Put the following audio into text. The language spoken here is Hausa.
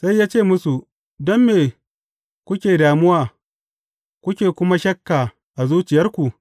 Sai ya ce musu, Don me kuke damuwa, kuke kuma shakka a zuciyarku?